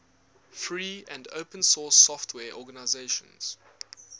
free and open source software organizations